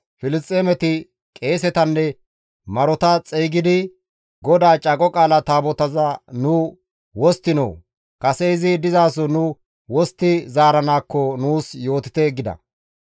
Filisxeemeti qeesetanne marota xeygidi, «GODAA Caaqo Qaala Taabotaza nu wosttinoo? Kase izi dizaso nu wostti zaaranaakko ane nuus yootite» gida.